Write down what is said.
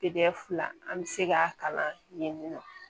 fila an bɛ se k'a kalan yen nɔ